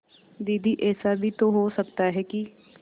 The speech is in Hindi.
दीदी ऐसा भी तो हो सकता है कि